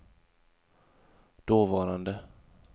dåvarande